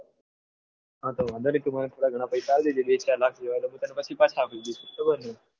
હા તો વાંધો નહિ તું મને થોડા ઘણા પૈસા આપજે એક બે લાખ જેવ પછી હું તને પાછા આપી દઈશ.